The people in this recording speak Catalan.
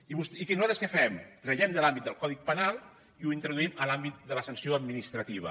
i nosaltres què fem ho traiem de l’àmbit del codi penal i ho introduïm a l’àmbit de la sanció administrativa